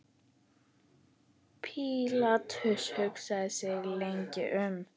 Pílatus hugsaði sig lengi um.